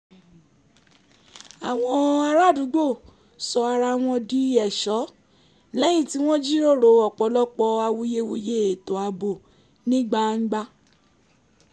àwọn ará àdúgbò sọ ara wọn di ẹ̀ṣọ́ lẹ́yìn tí wọ́n jíròrò ọ̀pọ̀lọpọ̀ awuyewuye ètò ààbò ní gbangba